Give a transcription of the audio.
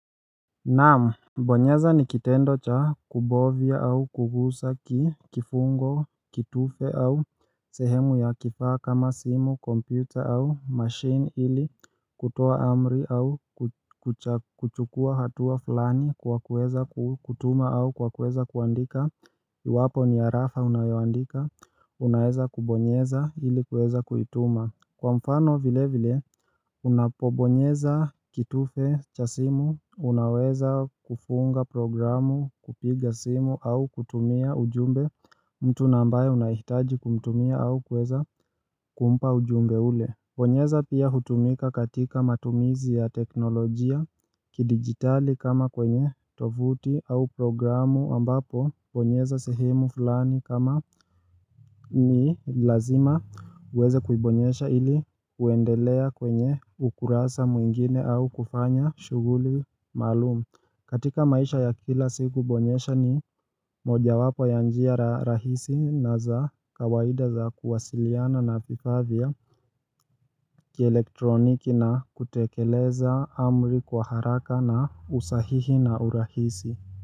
Naam, bonyeza ni kitendo cha kubovia au kugusa kifungo, kitufe au sehemu ya kifaa kama simu, kompyuta au machine ili kutoa amri au kuchukua hatua fulani kwa kuweza kutuma au kwa kuweza kuandika Iwapo ni arafa unayoandika, unaweza kubonyeza ili kueza kuituma Kwa mfano vile vile, unapobonyeza kitufe cha simu, unaweza kufunga programu kupiga simu au kutumia ujumbe mtu na ambaye unahitaji kumtumia au kuweza kumpa ujumbe ule. Bonyeza pia hutumika katika matumizi ya teknolojia kidigitali kama kwenye tovuti au programu ambapo bonyeza sehemu fulani kama ni lazima uweze kuibonyeza ili uendelea kwenye ukurasa mwingine au kufanya shughuli maalumu. Katika maisha ya kila siku bonyeza ni mojawapo ya njia rahisi na za kawaida za kuwasiliana na vifaa vya kielektroniki na kutekeleza amri kwa haraka na usahihi na urahisi.